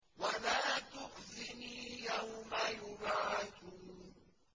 وَلَا تُخْزِنِي يَوْمَ يُبْعَثُونَ